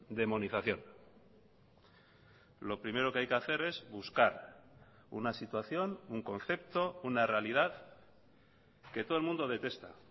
demonización lo primero que hay que hacer es buscar una situación un concepto una realidad que todo el mundo detesta